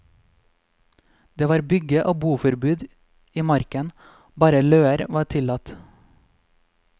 Det var bygge og boforbud i marken, bare løer var tillatt.